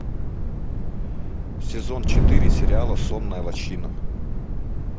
сезон четыре сериала сонная лощина